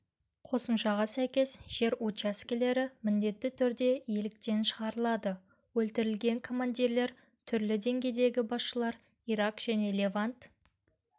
қосымшаға сәйкес жер учаскелері міндетті түрде иеліктен шығарылады өлтірілген командирлер түрлі деңгейдегі басшылар ирак және левант